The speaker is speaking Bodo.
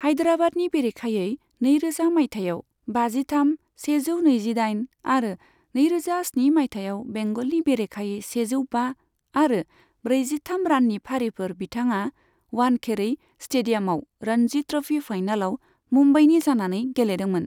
हायदराबादनि बेरेखायै नैरोजा मायथाइयाव बाजिथाम, सेजौ नैजिदाइन आरो नैरोजा स्नि मायथाइयाव बेंगलनि बेरेखायै सेजौ बा आरो ब्रैजिथाम राननि फारिफोर बिथाङा वानखेरै स्टेडियामआव रणजी ट्र'फी फाइनालाव मुम्बाईनि जानानै गेलेदोंमोन।